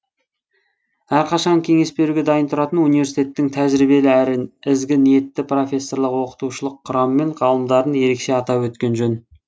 әрқашан кеңес беруге дайын тұратын университеттің тәжірибелі әрі ізгі ниетті профессорлық оқытушылық құрам мен ғалымдарын ерекше атап өткен жөн